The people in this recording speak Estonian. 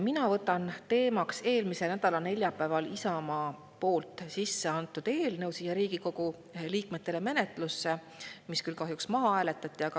Mina võtan teemaks eelmise nädala neljapäeval Isamaa poolt Riigikogu menetlusse antud eelnõu, mis kahjuks maha hääletati.